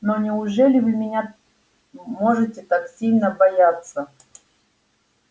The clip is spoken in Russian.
но неужели вы меня можете так сильно бояться